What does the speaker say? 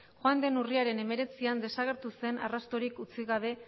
joan den urriaren hemeretzian desagertu zen arrastorik utzi gabe